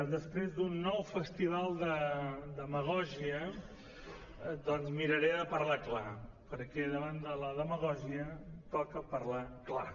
després d’un nou festival de demagògia doncs miraré de parlar clar perquè davant de la demagògia toca parlar clar